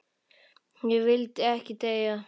Ég vildi ekki deyja.